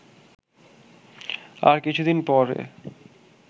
আর কিছুদিন পরে